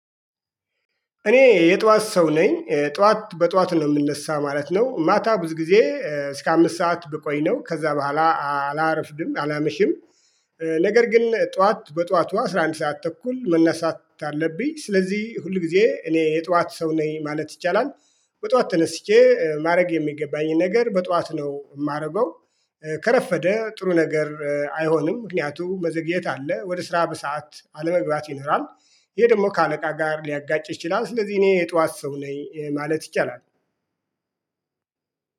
እኔ የጧት ሰው ነኝ። ጧት በጧት ነው የምነሳ ማለት ነው። ማታ ብዙ ጊዜ እስከ አምስት ሰዓት ብቆይ ነው። ከዛ በኋላ አላረፍድም አላመሽም። ነገር ግን ጠዋት በጠዋቷ ነው አስራ አንድ ሰዓት ተኩል መነሳት ስላለብኝ ስለዚህ ብዙ ጊዜ እኔ የጧት ሰው ነኝ ማለት ይቻላል። በጧት ተነስቼ ማድረግ የሚገባኝን ነገር በጧት ነው የማረገ። ከረፈደ ጥሩ ነገር አይሆንም። ምክንያቱም በዝግየት አለ ወደ ስራ በሰአት አለመግባት ይኖራል። ይሄ ደግሞ ከአለቃ ጋር ሊያጋጭ ይችላል። ስለዚህ እኔ የጧት ሰው ነኝ ማለት ይቻላል።